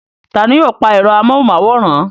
Taani yóò pa ẹ̀rọ amóhùnmáwòrán.